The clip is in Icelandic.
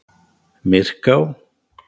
Myrká